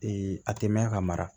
a tɛ mɛn ka mara